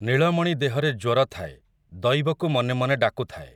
ନୀଳମଣି ଦେହରେ ଜ୍ୱର ଥାଏ, ଦଇବକୁ ମନେ ମନେ ଡାକୁଥାଏ ।